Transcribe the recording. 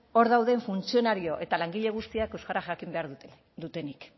hor dauden funtzionario eta langile guztiak euskara jakin behar dutenik